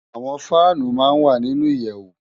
Awòn fànú má n wá ninú iyèwú